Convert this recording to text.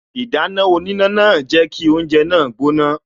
Ìdáná oníná náà jẹ́ kí oúnje náà gbóná